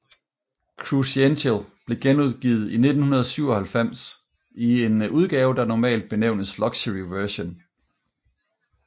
Cruzential blev genudgivet i 1997 i en udgave der normal benævnes Luxury Version